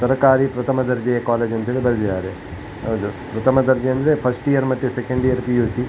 ಸರಕಾರಿ ಪ್ರಥಮ ದರ್ಜೆ ಕಾಲೇಜು ಅಂತ್ ಹೇಳಿ ಬರ್ದಿದ್ದಾರೆ. ಹೌದು. ಪ್ರಥಮ ದರ್ಜೆ ಅಂದ್ರೆ ಫಸ್ಟ್ ಇಯರ್ ಮತ್ತೆ ಸೆಕೆಂಡ್ ಇಯರ್ ಪಿ.ಯು.ಸಿ -